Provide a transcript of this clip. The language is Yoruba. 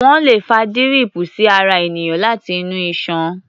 Wọ́́n lè fa díríìpù sí ara ènìyàn láti inú iṣan.